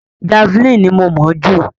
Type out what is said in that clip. Javeline ni mo mọ̀ ọ́ jù.